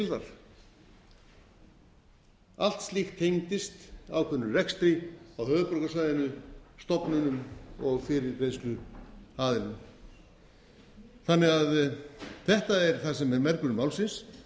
þar allt slíkt tengdist ákveðnum rekstri á höfuðborgarsvæðinu stofnunum og fyrirgreiðsluaðilum þetta er það sem er mergurinn málsins